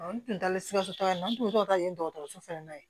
N tun taalen sikasotaga la n'o tɔgɔ ta ye dɔgɔtɔrɔso fana na ye